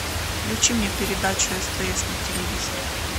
включи мне передачу стс на телевизоре